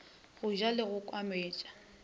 go ja le go kwametša